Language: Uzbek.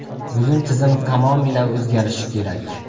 Bugun tizim tamomila o‘zgarishi kerak.